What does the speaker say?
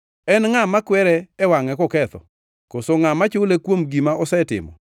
En ngʼa makwere e wangʼe koketho? Koso ngʼa machule kuom gima osetimo?